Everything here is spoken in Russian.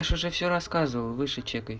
я ж уже всё рассказывал выше чекай